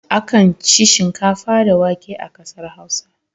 Akan ci shinkafa da wake a ƙasar Hausa.